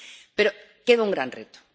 Pero queda un gran reto.